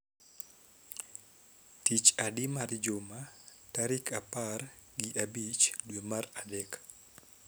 Tich adi mar juma tarik apar gi abich dwe mar adek